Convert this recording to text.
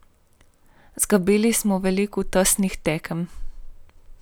Izgubili smo veliko tesnih tekem.